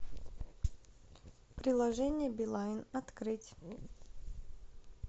приложение билайн открыть